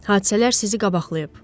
Hadisələr sizi qabaqlayıb.